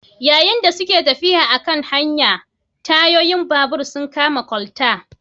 Yayin da suke tafiya a kan hanya, tayoyin babur sun kama kwalta